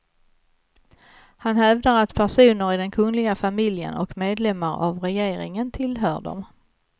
Han hävdar att personer i den kungliga familjen och medlemmar av regeringen tillhör dem.